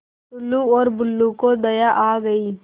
टुल्लु और बुल्लु को दया आ गई